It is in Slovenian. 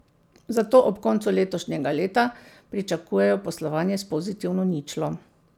Zato ob koncu letošnjega leta pričakujejo poslovanje s pozitivno ničlo.